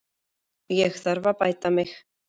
Ég þarf að bæta mig.